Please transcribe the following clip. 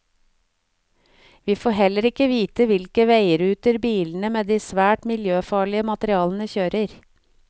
Vi får heller ikke vite hvilke veiruter bilene med de svært miljøfarlige materialene kjører.